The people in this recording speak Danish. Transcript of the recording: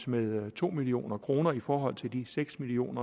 med to million kroner i forhold til de seks million